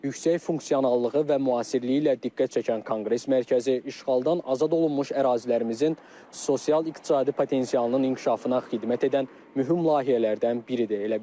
Yüksək funksionallığı və müasirliyi ilə diqqət çəkən Konqres Mərkəzi işğaldan azad olunmuş ərazilərimizin sosial-iqtisadi potensialının inkişafına xidmət edən mühüm layihələrdən biridir.